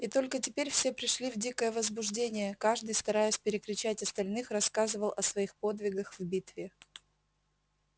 и только теперь все пришли в дикое возбуждение каждый стараясь перекричать остальных рассказывал о своих подвигах в битве